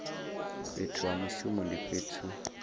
fhethu ha mushumo ndi fhethu